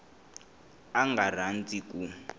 a a nga rhandzi ku